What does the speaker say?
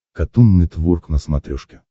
катун нетворк на смотрешке